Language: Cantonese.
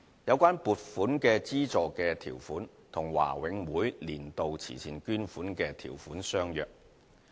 有關撥款資助的條款與華永會"年度慈善捐款"的條款相若。